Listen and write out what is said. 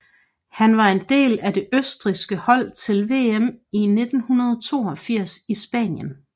Han var en del af det østrigske hold til VM i 1982 i Spanien